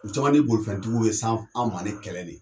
U caman ni bolofɛntigiw bɛ s'an s'an ni kɛlɛ de ye